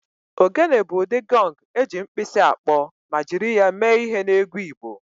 Ogene bụ ụdị gọng eji mkpisi akpọ ma jiri ya mee ihe n'egwu Igbo